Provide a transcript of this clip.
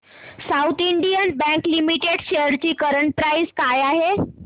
south Indian Bank Limited shares ची current price काय आहे